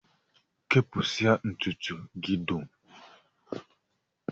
Kpụsịa ntụtụ gị dum!